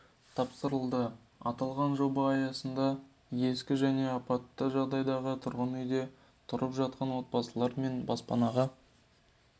тапсырылды аталған жоба аясында ескі және апатты жағдайдағы тұрғын үйде тұрып жатқан отбасылар жаңа баспанаға